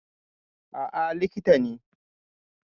Aa, likita ne